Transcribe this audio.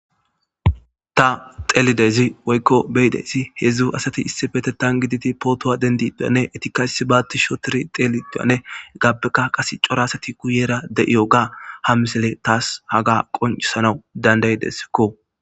ta xelidezi woykko beyidesi hedzdzu asati issi fete tan giditi pootowa dendiduyanne etikaysi baatti shotiri teelidoyane gappeka qas cora asati kuyera de'iyo ga ha misele taas haga qoncisanawu dandaydeskko.